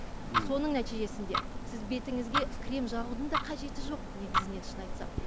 соның нәтижесінде сіз бетіңізге крем жағудың да қажеті жоқ негізінен шын айтсам